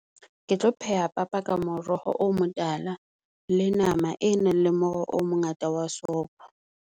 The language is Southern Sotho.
Ke tlo pheha papa ka moroho o motala, le nama e nang le moro o mongata wa sopho.